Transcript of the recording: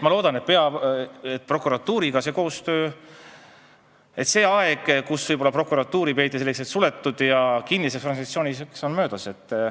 Ma loodan, et see aeg, kui prokuratuuri peeti suletud ja kinniseks organisatsiooniks, on möödas.